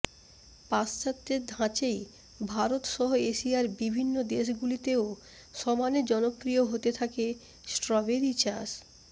পাশ্চাত্যের ধাঁচেই ভারত সহ এশিয়ার বিভিন্ন দেশ গুলিতেও সমানে জনপ্রিয় হতে থাকে স্ট্রবেরি চাষ